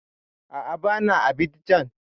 A'a, ba na Abidjan